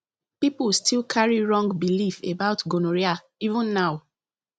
people still carry wrong belief about gonorrhea even now